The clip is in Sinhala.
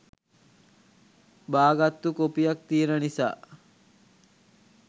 බාගත්තු කොපියක් තියෙන නිසා